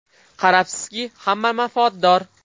Qarabsizki, hamma manfaatdor.